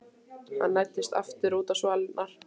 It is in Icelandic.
Hann læddist aftur út á svalirnar.